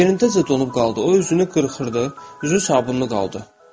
Yerindəcə donub qaldı, o üzünü qırxırdı, üzü sabunlu qaldı.